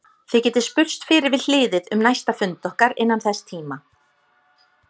Þið getið spurst fyrir við hliðið um næsta fund okkar innan þess tíma.